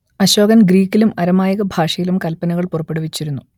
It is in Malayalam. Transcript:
അശോകൻ ഗ്രീക്കിലും അരമായിക ഭാഷയിലും കല്പനകൾ പുറപ്പെടുവിച്ചിരുന്നു